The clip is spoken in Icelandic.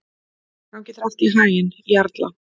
Gangi þér allt í haginn, Jarla.